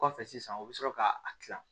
Kɔfɛ sisan u bɛ sɔrɔ ka a dilan